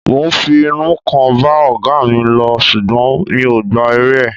Mo fi inú kan bá ọ̀gáa mi lò ṣùgbọ́n mi ò gba èrè ẹ̀.